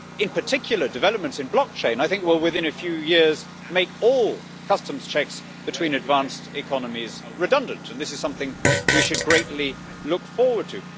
In particular, I think developments in blockchain will within a few years make all customs checks between advanced economies redundant and this is something we should greatly look forward to.